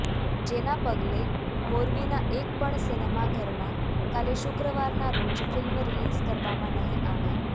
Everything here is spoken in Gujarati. જેના પગલે મોરબીનાં એક પણ સિનેમા ઘરમાં કાલે શુક્રવારનાં રોજ ફિલ્મ રિલીઝ કરવામાં નહિ આવે